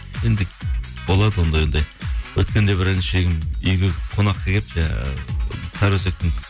енді болады ондай ондай өткенде бір інішегім үйге қонаққа келіп жаңағы сары өсектің